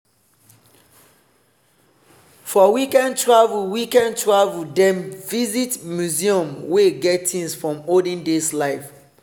for weekend travel weekend travel dem visit museum wey get things from olden days life.